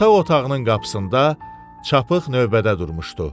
Yataq otağının qapısında çapıq növbədə durmuşdu.